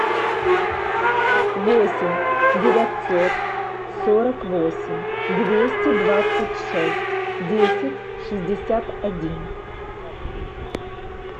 восемь девятьсот сорок восемь двести двадцать шесть десять шестьдесят один